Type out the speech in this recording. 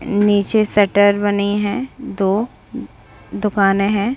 नीचे शटर बनी है दो उ दुकाने हैं।